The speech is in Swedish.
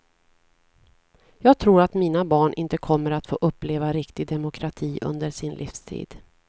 Jag tror att mina barn inte kommer att få uppleva riktig demokrati under sin livstid.